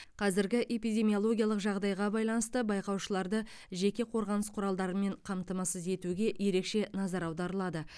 қазіргі эпидемиологиялық жағдайға байланысты байқаушыларды жеке қорғаныс құралдарымен қамтамасыз етуге ерекше назар аударылады